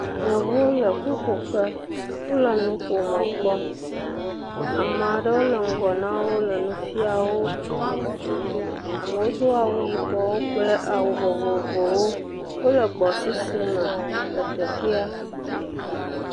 Yevuwo le ƒuƒoƒe, wole nuƒomɔ kpɔm. Ame aɖewo le ŋgɔ nawo le nu fiam wo. Amewo do awu yibɔ kple awu vovovowo. Wole gbɔsusu me le teƒea.